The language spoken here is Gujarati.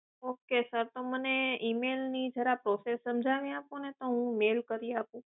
Ok sir તો મને ઇમેલની ઝરા process જણાવી આપોને તો હું મેઈલ કરી આપું